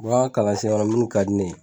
N ka kalan sira la mun ka di ne ye.